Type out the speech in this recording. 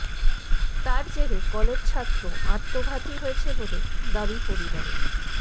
তার জেরে কলেজ ছাত্র আত্মঘাতী হয়েছে বলে দাবি পরিবারের